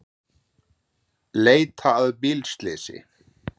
Leita að bílslysi